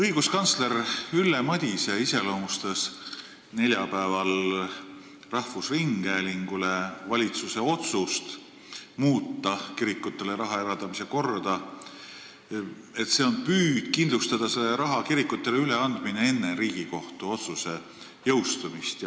Õiguskantsler Ülle Madise iseloomustas neljapäeval rahvusringhäälingus rääkides valitsuse otsust muuta kirikutele raha eraldamise korda nii, et see on püüd kindlustada selle raha kirikutele üleandmine enne Riigikohtu otsuse jõustumist.